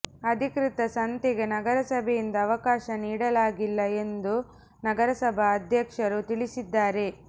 ಅಧಿಕೃತ ಸಂತೆಗೆ ನಗರಸಭೆಯಿಂದ ಅವಕಾಶ ನೀಡಲಾಗಿಲ್ಲ ಎಂದು ನಗರಸಭಾ ಅಧ್ಯಕ್ಷರು ತಿಳಿಸಿದ್ದಾರೆ